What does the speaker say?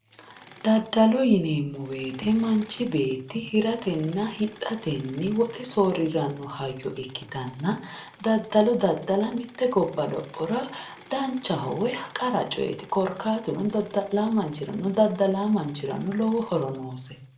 Daddalo yineemmo woyte manchi beetti hiratenna hidhatee woxe soorriranno hayyo ikkitanna daddalo daddala mitte gobba lophora danchaho woyi qara coyeeti korkaatuno dadda'laa manchirano daddalaa manchirano lowo horo noosi